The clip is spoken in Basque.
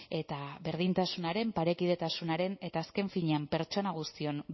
eta berdintasunaren parekidetasunaren eta azken finean pertsona guztion